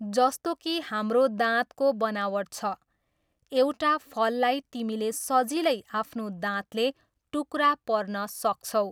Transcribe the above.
जस्तो कि हाम्रो दाँतको बनावट छ, एउटा फललाई तिमीले सजिलै आफ्नो दाँतले टुक्रा पर्न सक्छौ।